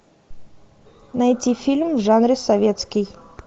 найти фильм в жанре советский